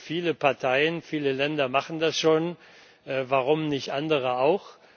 Viele Parteien, viele Länder machen das schon, warum nicht andere auch?